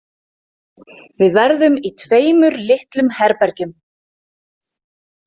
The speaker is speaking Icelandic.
Við verðum í tveimur litlum herbergjum